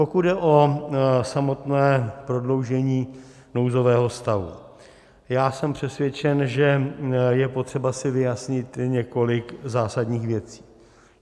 Pokud jde o samotné prodloužení nouzového stavu, já jsem přesvědčen, že je potřeba si vyjasnit několik zásadních věcí.